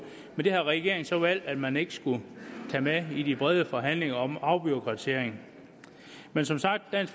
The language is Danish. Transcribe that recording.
men det har regeringen så valgt at man ikke skulle tage med i de brede forhandlinger om afbureaukratisering men som sagt er